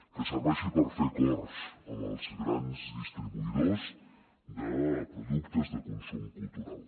que serveixi per fer acords amb els grans distribuïdors de productes de consum cultural